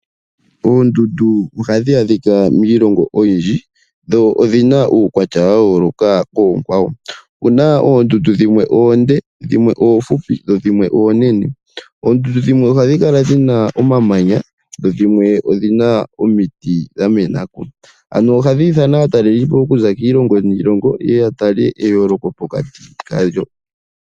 Oondundu ohadhi adhika miilongo oyindji dho odhina uukwatya wa yooloka koonkwawo . Opuna oondundu dhimwe oofupi dhimwe oonde dhimwe oonene. Oondundu dhimwe ohadhi kala dhina omamanya dho dhimwe odhina omiti dha menako ano ohadhi ithana aatalelipo okuza kiilongo niilongo yeye ya tale eyooloko pokati kadho.